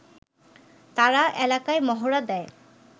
তারা এলাকায় মহড়া দেয়